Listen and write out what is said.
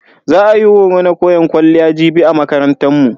Za a yi horo na koyan kwalliya jibi a makarantan mu.